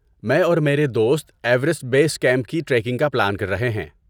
میں اور میرے دوست ایورسٹ بیس کیمپ کی ٹریکنگ کا پلان کر رہے ہیں۔